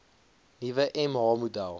nuwe mh model